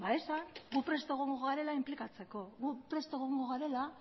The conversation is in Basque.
esan gu prest egongo gara inplikatzeko gu prest egongo gara